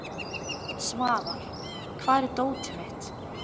Svafar, hvar er dótið mitt?